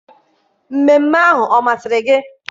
mmemme ahụ ọ masịrị gị?